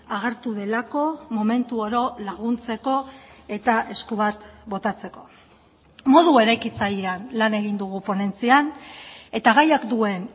agertu delako momentu oro laguntzeko eta esku bat botatzeko modu eraikitzailean lan egin dugu ponentzian eta gaiak duen